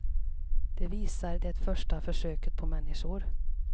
Det visar det första försöket på människor.